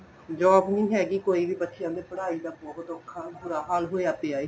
job ਨੀਂ ਹੈਗੀ ਕੋਈ ਬੱਚਿਆਂ ਦੀ ਪੜ੍ਹਾਈ ਦਾ ਬਹੁਤ ਔਖਾ ਬੁਰਾ ਹਾਲ ਹੋਇਆ ਪਿਆ ਏ